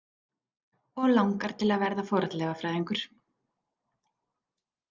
Og langar til að verða fornleifafræðingur.